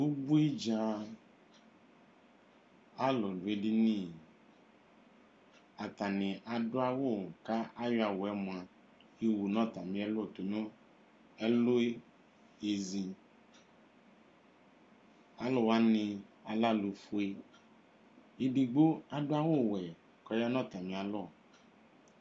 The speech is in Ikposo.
Ubui dza alu du edini atani adu awu kayɔ awu mua yowu nu ɛlu yɔɣezi aluwani alɛ alufue edigbo adu awu wɛ kɔya nu atami alɔ